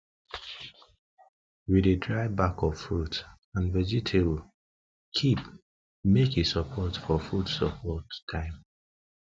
we dey dry back of fruit and vegetable keep make e support for food support for food time